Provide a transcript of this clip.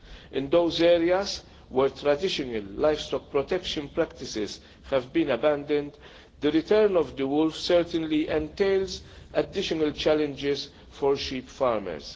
In those areas where traditional livestock protection practices have been abandoned, the return of the wolf certainly entails additional challenges for sheep farmers.